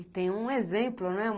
E tem um exemplo, né?